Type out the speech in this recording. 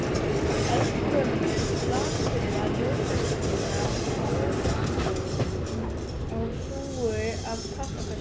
Eldgömul, lasburða ljósakróna ofan á hrúgu af pappakössum.